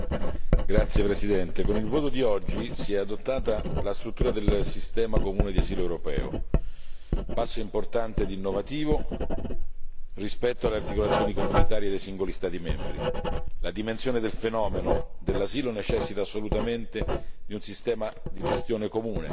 Signor Presidente, onorevoli colleghi, con il voto di oggi si è adottata la struttura del sistema comune d'asilo europeo, passo importante e innovativo rispetto alle articolazioni comunitarie dei singoli Stati membri. La dimensione del fenomeno dell'asilo necessita assolutamente di un sistema di gestione comune